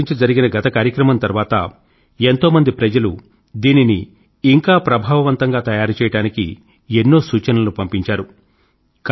పరీక్షల గురించి జరిగిన గత కార్యక్రమం తర్వాత ఎంతో మంది ప్రజలు దీనిని ఇంకా ప్రభావవంతంగా తయారు చేయడానికి ఎన్నో సూచనలను పంపించారు